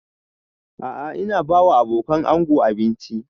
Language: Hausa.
A'a ina ba wa abokanan ango abinci